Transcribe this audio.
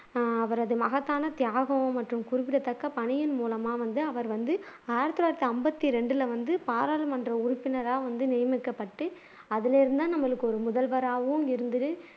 ஹம் அவரது மகத்தான தியாகம் மற்றும் குறிப்பிடத்தக்க பணியின் மூலமா வந்து அவர் வந்து ஆயிரத்து தொள்ளாயிரத்து அம்பத்தி ரெண்டுல வந்து பாராளுமன்ற உறுப்பினரா வந்து நியமிக்கப்பட்டு அதுலேருந்துதான் நமக்கு ஒரு முதல்வராவும் இருந்து